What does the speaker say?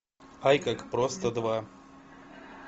ай как просто два